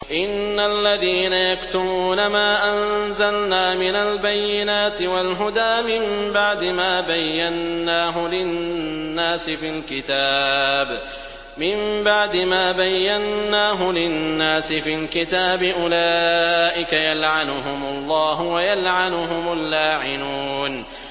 إِنَّ الَّذِينَ يَكْتُمُونَ مَا أَنزَلْنَا مِنَ الْبَيِّنَاتِ وَالْهُدَىٰ مِن بَعْدِ مَا بَيَّنَّاهُ لِلنَّاسِ فِي الْكِتَابِ ۙ أُولَٰئِكَ يَلْعَنُهُمُ اللَّهُ وَيَلْعَنُهُمُ اللَّاعِنُونَ